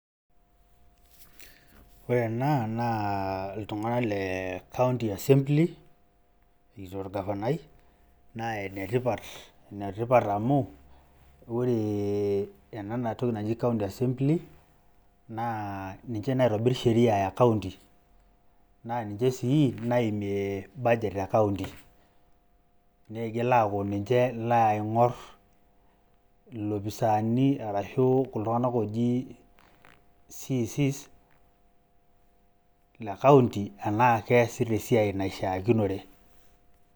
Ore ena naa iltung'anak le County Assembly, erikito orgavanai naa enetipat amu ore ena toki naji County Assembly naa ninche naitobirr sheria e County naa ninche sii naimie budget e [county] nigil aaku ninche naing'orr ilopisaani arashu CC's le County enaa keesita esiai naishiakinore.